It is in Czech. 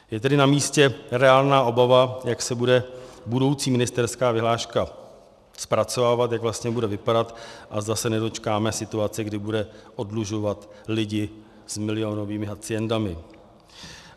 Je tedy namístě reálná obava, jak se bude budoucí ministerská vyhláška zpracovávat, jak vlastně bude vypadat a zda se nedočkáme situace, kdy bude oddlužovat lidi s milionovými haciendami.